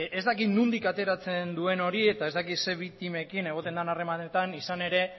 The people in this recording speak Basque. ez dakit nondik ateratzen duen hori eta ez dakit zer biktimekin egoten den harremanetan izan ere